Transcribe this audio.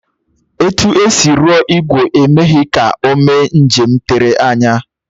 Etu e si rụọ ìgwè, emeghị ya ka o mee njem tere anya